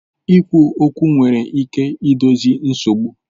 Ikwu okwu nwere ike idozi nsogbu